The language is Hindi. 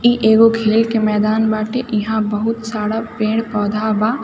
इ एगो खेल के मैदान बाटे इहा बहुत सारा पेड़-पौधा बा।